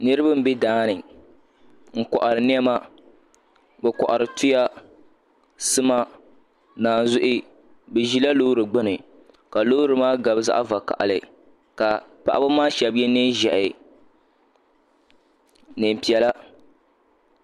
Nirabq n bɛ daani n kohari niɛma bi kohari tuya sima naanzuhi bi ʒila loori gbuni ka loori maa gabi zaɣ vakaɣali ka paɣaba maa shab yɛ neen ʒiɛhi neen piɛla